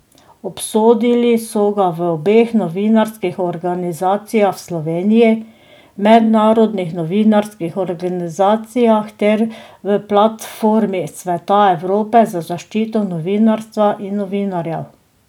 Obsodili so ga v obeh novinarskih organizacijah v Sloveniji, v mednarodnih novinarskih organizacijah ter v Platformi Sveta Evrope za zaščito novinarstva in novinarjev.